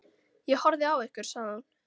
Ég horfði á ykkur, sagði hún.